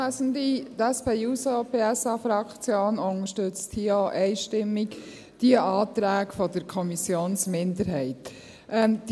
Die SP-JUSO-PSA-Fraktion unterstützt auch hier die Anträge der Kommissionsminderheit einstimmig.